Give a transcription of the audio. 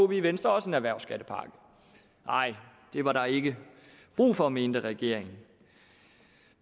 vi i venstre også en erhvervsskattepakke nej det var der ikke brug for mente regeringen